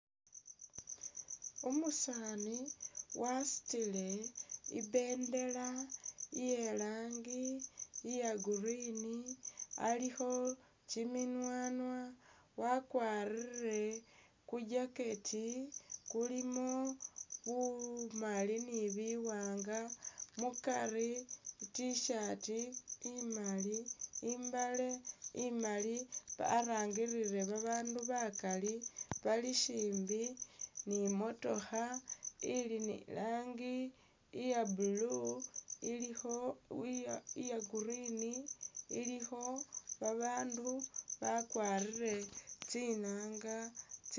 Umusaani wasutile ibendela iye irangi iya'green alikho kyiminywanywa wakwarile ku'jacket kulimo bumaali ni biwaanga mukari I't-shirt imaali, i'mbaale imaali warangilile abandu bakaali naabi balishimbi ni motookha ili ni rangi iya'blue ilikho iya'green ilikho babaandu bakwarile tsinaanga tsi